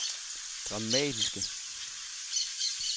dramatiske